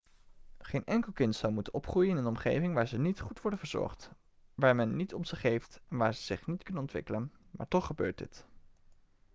geen enkel kind zou moeten opgroeien in een omgeving waar ze niet goed worden verzorgd waar men niet om ze geeft en waar ze zich niet kunnen ontwikkelen maar toch gebeurt dit